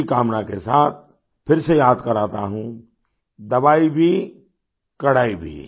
इसी कामना के साथ फिर से याद कराता हूँ दवाई भी कड़ाई भी